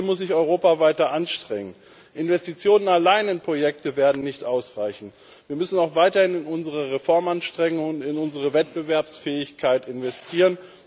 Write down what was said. Medaille. Hier muss sich Europa weiter anstrengen. Investitionen in Projekte allein werden nicht ausreichen, wir müssen auch weiter in unsere Reformanstrengungen, in unsere Wettbewerbsfähigkeit investieren.